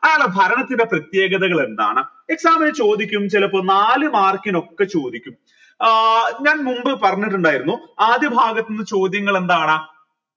ആള ഭരണത്തിന്റെ പ്രേത്യേഗതകൾ എന്താണ് exam ന് ചോദിക്കും ചെലപ്പോ നാല് mark നോക്കെ ചോദിക്കും ആഹ് ഞാൻ മുൻപ് പറഞ്ഞിട്ടുണ്ടായിരുന്നു ആദ്യ ഭാഗത്ത് നിന്ന് ചോദ്യങ്ങൾ എന്താണ്